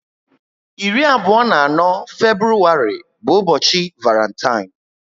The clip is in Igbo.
irí abụọ na anọ Febrụwarị bu ubochi Varantine